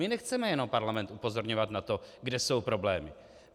My nechceme jenom Parlament upozorňovat na to, kde jsou problémy.